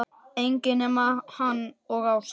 Enginn nema hann og Ása.